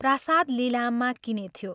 प्रासाद लिलाममा किनेथ्यो।